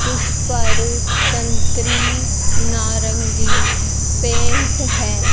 उस पर संतरी नारंगी पेंट है।